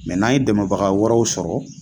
n'an ye dɛmɛbaga wɛrɛw sɔrɔ